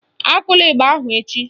Akụla ịgba ahụ echi